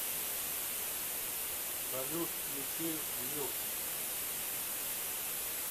салют включи юк